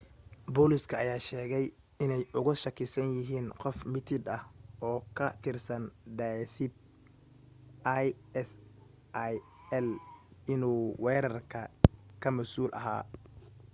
booliska ayaa sheegay inay uga shakisan yihiin qof mitid ah oo ka tirsan daesb isil inuu weerarka ka masuul ahaa